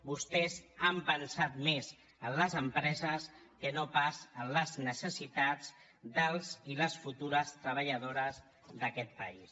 vostès han pensat més en les empreses que no pas en les necessitats dels i les futures treballadores d’aquest país